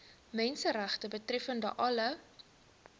menseregte betreffende alle